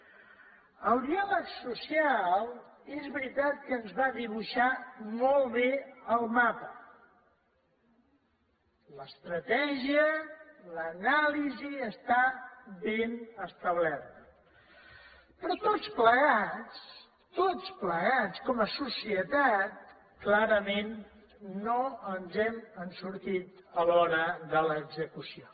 el diàleg social és veritat que ens va dibuixar molt bé el mapa l’estratègia l’anàlisi està ben establerta però tots plegats tots plegats com a societat clarament no ens n’hem sortit a l’hora de l’execució